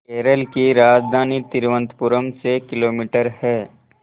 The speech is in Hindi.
केरल की राजधानी तिरुवनंतपुरम से किलोमीटर है